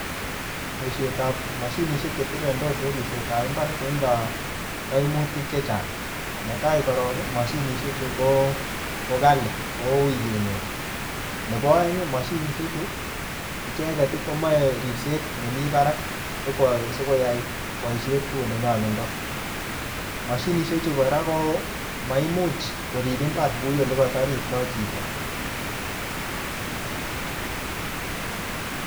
Boisiet ap mashinishek chetirirendos en ripset ap mbar, koindoi kaimutik chechang. Ne tai korok, mashinishek chu ko-ko kali, kouiy kenyor. Nebo aneg, mashinisek chu, icheket, komache ripset nemii barak, siko-sikoyai boisiet kou ole nyalundoi. Mashinishek chuu kora ko maimuch korip mbar kuu ole ye katariptoi chito